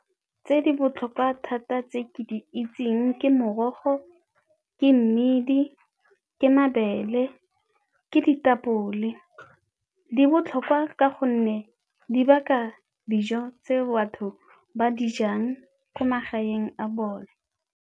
Tse di botlhokwa thata tse ke di itseng ke morogo, ke mmidi, ke mabele, ke ditapole. Di botlhokwa ka gonne di baka dijo tse batho ba dijang ko magaeng a bone.